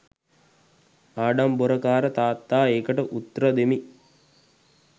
ආඩම්බොරකාර තාත්තා ඒකට උත්‍ර දෙමි.